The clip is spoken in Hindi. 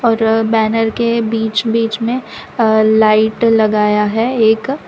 और बैनर के बीच बीच में अ लाइट लगाया है एक।